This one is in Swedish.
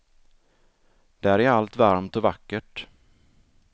Där är allt varmt och vackert.